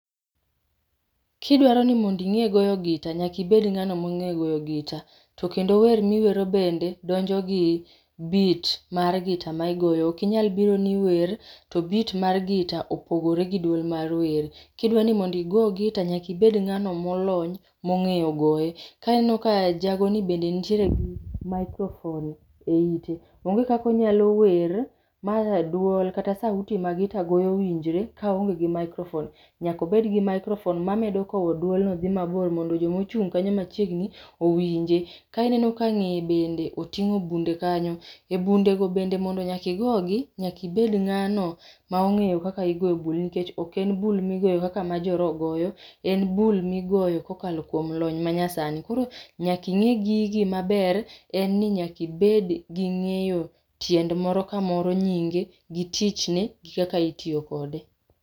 Kidwaro nimondo inge goyo gita nyaka ibed ngano mongeyo goyo gita tokendo wer miwero bende donjo gi beat mar gita ma igoyo. Ok inyal biro ni iwer to beat mar gita opogore gi duol mar wer. Kidwani mondo igo gita nyaka ibed ngano molony mongeyo goye. Ka ineno ka jago ni bende nitiere gi microphone e ite, onge kaka onyalo wer ma raduol kata sauti ma gita goyo winjre ka oonge gi microphone, nyaka obed gi microphone mamedo kow duol no dhi mabor mondo joma ochung kanyo machiegni owinjre. Ka ineno ka ngeye kanyo be otingo bunde kanyo. E bunde go bende nyaka igogi, nyaka ibed ngano ma ongeyo kaka igoyo bul nikech oken bul migoyo kaka jo roho goyo, en bul migoyo kokalo kuom lony manyasani. Koro nyaka inge gigi maber, en ni nyaka ibed gi ngeyo tiend moro ka moro nyinge gi tichne kaka itiyo kode